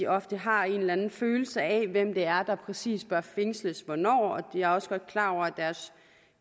ofte har en eller anden følelse af hvem det er der præcis bør fængsles hvornår og jeg er også godt klar over at